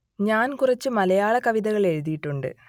ഞാൻ കുറച്ച് മലയാള കവിതകൾ എഴുതിയിട്ടുണ്ട്